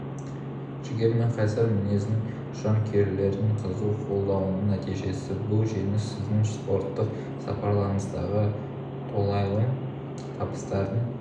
жігер мен қайсар мінездің жанкүйерлердің қызу қолдауының нәтижесі бұл жеңіс сіздің спорттық сапарыңыздағы толайым табыстардың